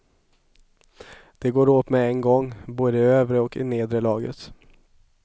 De går åt med en gång, både i det övre och i det nedre laget.